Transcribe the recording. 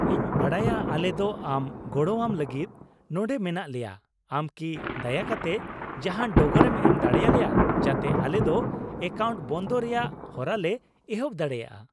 ᱤᱧ ᱵᱟᱰᱟᱭᱟ, ᱟᱞᱮ ᱫᱚ ᱟᱢ ᱜᱚᱲᱟᱣᱟᱢ ᱞᱟᱹᱜᱤᱫ ᱱᱚᱱᱰᱮ ᱢᱮᱱᱟᱜ ᱞᱮᱭᱟ ᱾ ᱟᱢ ᱠᱤ ᱫᱟᱭᱟ ᱠᱟᱛᱮ ᱡᱟᱦᱟᱱ ᱰᱚᱜᱚᱨᱮᱢ ᱮᱢ ᱫᱟᱲᱮ ᱟᱞᱮᱭᱟ ᱡᱟᱛᱮ ᱟᱞᱮ ᱫᱚ ᱮᱠᱟᱣᱩᱱᱴ ᱵᱚᱱᱫᱚᱭ ᱨᱮᱭᱟᱜ ᱦᱚᱨᱟᱞᱮ ᱮᱦᱚᱵ ᱫᱟᱲᱮᱭᱟᱜᱼᱟ ᱾